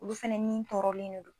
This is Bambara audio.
Olu fana ni tɔɔrɔlen de don